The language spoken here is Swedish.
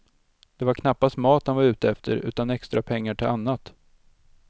Det var knappast mat han var ute efter, utan extra pengar till annat.